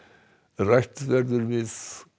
rætt verður við